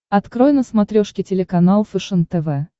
открой на смотрешке телеканал фэшен тв